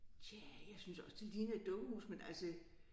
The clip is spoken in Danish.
Tja jeg synes også det ligner et dukkehus men altså